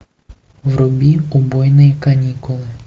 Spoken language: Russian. вруби убойные каникулы